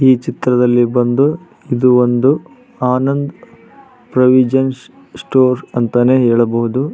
ಈ ಚಿತ್ರದಲ್ಲಿ ಬಂದು ಇದು ಒಂದು ಆನಂದ್ ಪ್ರಾವಿಷನ್ ಸ್ಟೋರ್ ಅಂತಾನೆ ಹೇಳಬಹುದು.